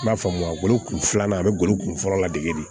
N b'a faamuya lo kun filanan a be golo kunfɔlɔ ladege de